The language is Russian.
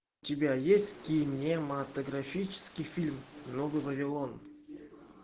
у тебя есть кинематографический фильм новый вавилон